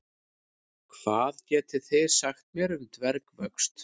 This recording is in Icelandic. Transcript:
Hvað getið þið sagt mér um dvergvöxt?